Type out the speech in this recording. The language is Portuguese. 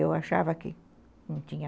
Eu achava que não tinha...